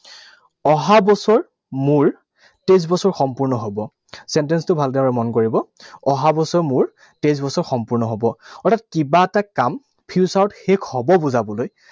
অহাবছৰ মোৰ তেইছ বছৰ সম্পূৰ্ণ হব। Sentence টো ভালদৰে মন কৰিব। অহাবছৰ মোৰ তেইছ বছৰ সম্পূৰ্ণ হব। অৰ্থাৎ কিবা এটা কাম future ত শেষ হব বুজাবলৈ